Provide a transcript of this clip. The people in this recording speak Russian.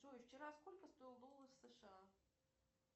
джой вчера сколько стоил доллар сша